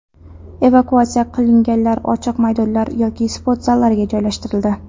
Evakuatsiya qilinganlar ochiq maydonlar yoki sport zallariga joylashtirildi.